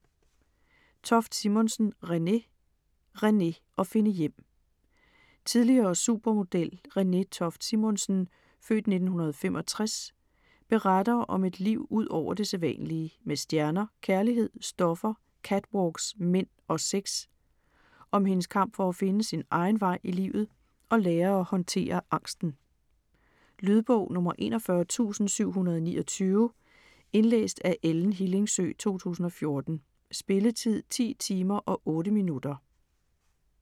Toft Simonsen, Renée: Renée: at finde hjem Tidligere supermodel, Renée Toft Simonsen (f. 1965), beretter om et liv ud over det sædvanlige med stjerner, kærlighed, stoffer, catwalks, mænd og sex. Om hendes kamp for at finde sin egen vej i livet og lære at håndtere angsten. Lydbog 41729 Indlæst af Ellen Hillingsø, 2014. Spilletid: 10 timer, 8 minutter.